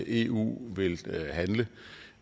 eu vil handle